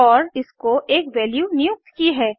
और इसको एक वैल्यू नियुक्त की है